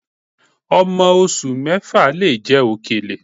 Ọmọ oṣù mẹ́fà lè jẹ òkèlè